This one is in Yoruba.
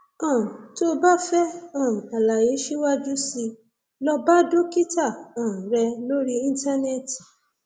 um tó o bá fẹ um àlàyé síwájú sí i lọ bá dókítà um rẹ lórí íńtánẹẹtì